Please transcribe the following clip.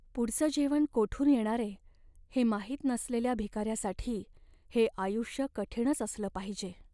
पुढचं जेवण कोठून येणारे हे माहित नसलेल्या भिकाऱ्यासाठी हे आयुष्य कठीणच असलं पाहिजे.